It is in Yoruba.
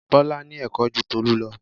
Bọlá ní Ẹ̀kọ́ ju Tolu lọ